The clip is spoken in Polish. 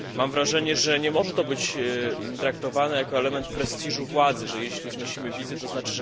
Mam wrażenie, że nie może to być traktowane jako element prestiżu władzy, że jeśli znosimy wizy tzn.,